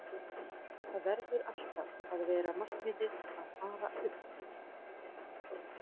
Það verður alltaf að vera markmiðið að fara upp.